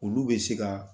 Olu bɛ se ka